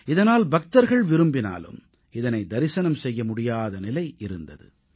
இதனால் பக்தர்கள் விரும்பினாலும் இதனை தரிசனம் செய்ய முடியாத நிலை இருந்தது